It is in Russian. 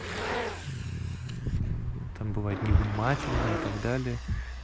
мм там бывают невнимательны и так далее